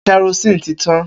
Kerosene ti tan.